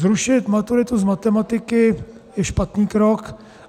Zrušit maturitu z matematiky je špatný krok.